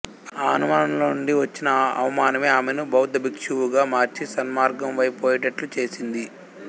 ఆ అనుమానంలో నుండి వచ్చిన అవమానమే ఆమెను బౌద్ధభిక్షువుగా మార్చి సన్మార్గంవైపు పోయేటట్లు చేసింది